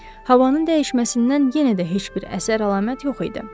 Havanın dəyişməsindən yenə də heç bir əsər-əlamət yox idi.